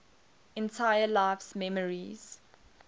entire life's memories